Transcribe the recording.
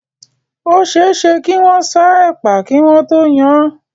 Ó ṣe é ṣe kí wọ́n sá ẹ̀pà kí wọ́n tó yan án.